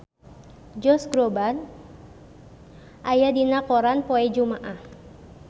Josh Groban aya dina koran poe Jumaah